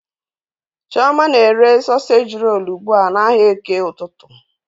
Chioma na-ere soseji rolu ugbu a n'ahịa eke ụtụtụ.